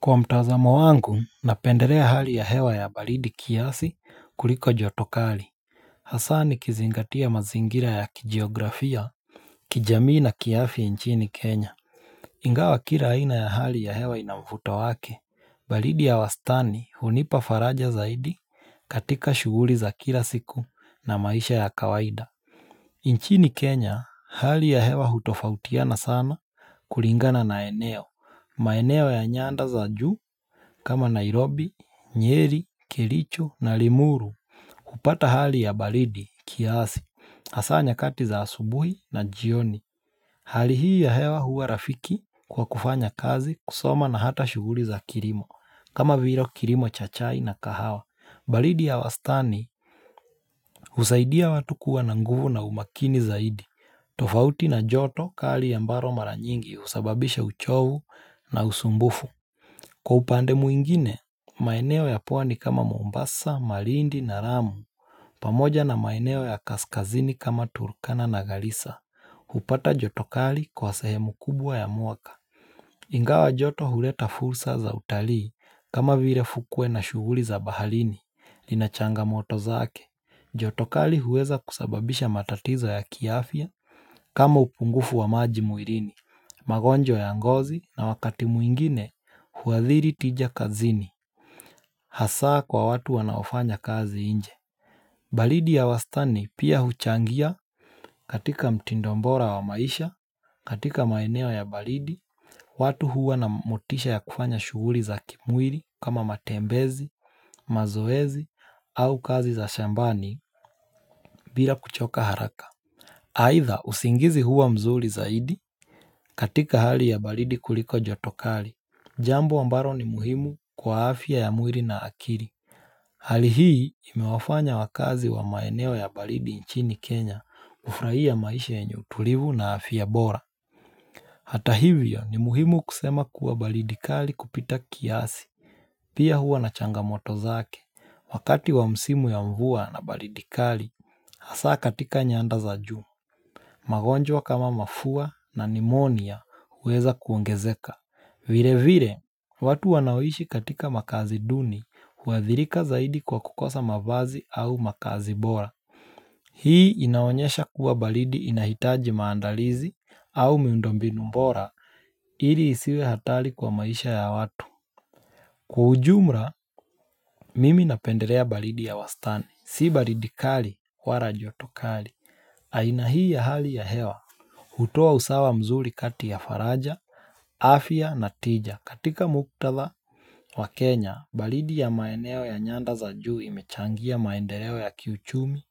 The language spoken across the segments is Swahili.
Kwa mtazamo wangu napendelea hali ya hewa ya baridi kiasi kuliko jotokali Hasa ni kizingatia mazingira ya kijiografia kijamii na kiafya nchini Kenya Ingawa kila aina ya hali ya hewa inamvuto wake, baridi ya wastani hunipafaraja zaidi katika shughuli za kila siku na maisha ya kawaida nchini Kenya hali ya hewa hutofautiana sana kulingana na eneo, maeneo ya nyanda za juu kama Nairobi, Nyeri, Kelicho na Limuru kupata hali ya baridi, kiasi, hasa nyakati za asubuhi na jioni Hali hii ya hewa huwa rafiki kwa kufanya kazi kusoma na hata shughuli za kirimo kama vile kirimo chachai na kahawa baridi ya wastani husaidia watu kuwa na nguvu na umakini zaidi tofauti na joto kali ya mbaro maranyingi husababisha uchovu na usumbufu Kwa upande mwingine, maeneo ya pwani kama Mombasa, Marindi na Ramu pamoja na maeneo ya kaskazini kama Turkana na Galisa hupata jotokali kwa sehemu kubwa ya mwaka Ingawa jotokali huleta fursa za utalii kama vile fukwe na shughuli za baharini Linachanga moto zake jotokali huweza kusababisha matatizo ya kiafya kama upungufu wa maji mwilini magonjwa ya ngozi na wakati mwingine huadhiri tija kazini Hasa kwa watu wanaofanya kazi inje baridi ya wastani pia huchangia katika mtindo bora wa maisha katika maeneo ya baridi watu huwa na motisha ya kufanya shughuri za kimwili kama matembezi, mazoezi au kazi za shambani bila kuchoka haraka Haidha usingizi huwa mzuri zaidi katika hali ya baridi kuliko joto kali Jambo ambalo ni muhimu kwa afya ya mwili na akiri. Hali hii imewafanya wakazi wa maeneo ya balidi nchini Kenya kufurahia maisha yenye utulivu na afya bora. Hata hivyo ni muhimu kusema kuwa baridikali kupita kiasi. Pia huwa na changamoto zake. Wakati wa msimu ya mvua na baridikali, hasa katika nyanda za juu magonjwa kama mafua na nimonia huweza kuongezeka. Vire vire, watu wanaoishi katika makazi duni, huadhirika zaidi kwa kukosa mavazi au makazi bora Hii inaonyesha kuwa baridi inahitaji maandalizi au miundombinu bora ili isiwe hatari kwa maisha ya watu Kwa ujumra, mimi napenderea baridi ya wastani Si baridi kali wala joto kali aina hii ya hali ya hewa hutoa usawa mzuri kati ya faraja, afya na tija. Katika muktadha wa Kenya, baridi ya maeneo ya nyanda za juu imechangia maendeleo ya kiuchumi,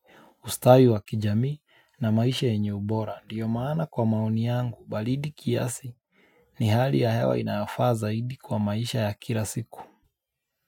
ustawi wa kijamii na maisha yenye ubora. Ndio maana kwa maoni yangu, baridi kiasi ni hali ya hewa inayofaa zaidi kwa maisha ya kilasiku.